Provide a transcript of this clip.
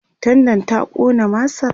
tendan ta Ƙona masar?